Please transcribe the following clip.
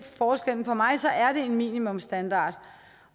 forskellen for mig er det en minimumsstandard